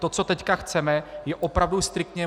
To, co teď chceme, je opravdu striktně.